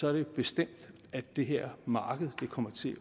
er det bestemt at det her marked kommer til